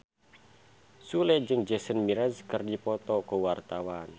Sule jeung Jason Mraz keur dipoto ku wartawan